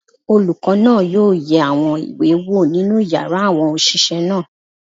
Olùkọ́ náà yóò yẹ àwọn ìwé wò nínú yàrá àwọn òṣìṣẹ́ náà.